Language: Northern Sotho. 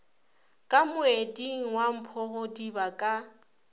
ka moeding wa mphogodiba ka